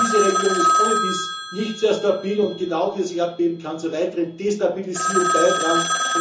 Denn diese Region ist ohnedies nicht sehr stabil, und genau dieses Erdbeben kann zur weiteren Destabilisierung beitragen.